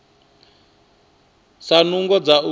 si na nungo dza u